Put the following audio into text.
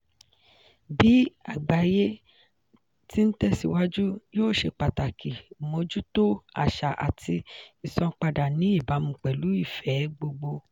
bí àgbáyé ti ń tẹ̀síwájú yíò ṣe pàtàkì mójútó àṣà àti ìsanpadà ní ìbámu pẹ̀lú ìfẹ́ẹ gbogbo.